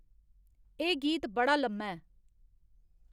एह् गीत बड़ा लम्मा ऐ